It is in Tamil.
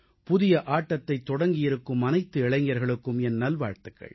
புதிய ஆட்டத்தைத் தொடங்கியிருக்கும் அனைத்து இளைஞர்களுக்கும் என் நல்வாழ்த்துகள்